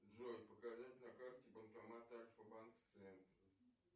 джой показать на карте банкомат альфа банка в центре